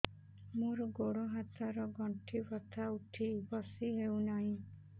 ମୋର ଗୋଡ଼ ହାତ ର ଗଣ୍ଠି ବଥା ଉଠି ବସି ହେଉନାହିଁ